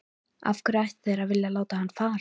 Af hverju ættu þeir að vilja láta hann fara?